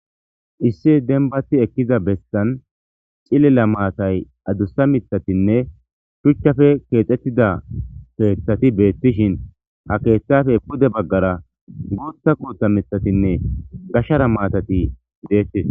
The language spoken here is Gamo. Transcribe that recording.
issi denbati ekkiza bessan cililla maatay adussa mitatinne shuchchafe keexettida peeththati beettishin ha keeththafe pude baggara guutha kuutha mithatinne gashshara maatati deettii